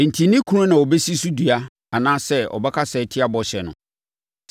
Enti, ne kunu na ɔbɛsi so dua anaasɛ ɔbɛkasa atia bɔhyɛ no.